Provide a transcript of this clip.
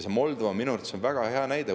Moldova on minu arvates väga hea näide.